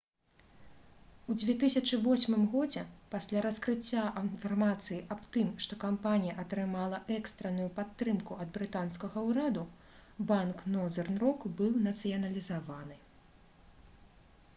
у 2008 годзе пасля раскрыцця інфармацыі аб тым што кампанія атрымала экстранную падтрымку ад брытанскага ўраду банк «нозэрн рок» быў нацыяналізаваны